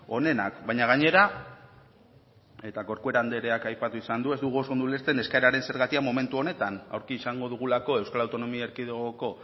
onenak baina gainera eta corcuera andreak aipatu izan du ez dugu oso ondo ulertzen eskaeraren zergatia momentu honetan aurki izango dugulako euskal autonomia erkidegoko